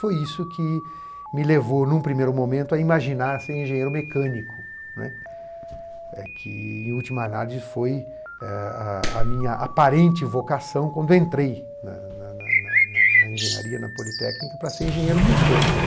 Foi isso que me levou, em um primeiro momento, a imaginar ser engenheiro mecânico, né, que, em última análise, eh foi a minha aparente vocação quando eu entrei na na na engenharia, na Politécnica, para ser engenheiro mecânico.